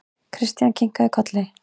Christian kinkaði kolli.